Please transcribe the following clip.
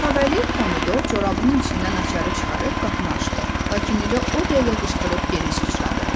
Kavalier pomidor corabının içindən açarı çıxarıb qapını açdı, lakin elə o dəqiqə qışqırıb geri çəkildi.